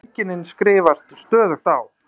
Feðginin skrifast stöðugt á.